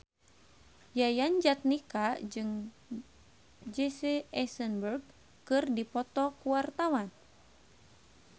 Yayan Jatnika jeung Jesse Eisenberg keur dipoto ku wartawan